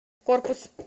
корпус